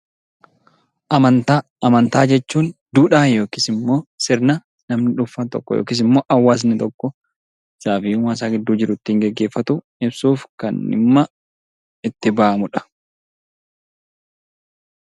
Amantaa jechuun duudhaa yookiis immoo sirna namni dhuunfaan tokko yookiis immoo hawaasni tokko sababii gidduusaa jiru kan ittiin gaggeeffatu ibsuuf kan dhimma itti ba'amudha.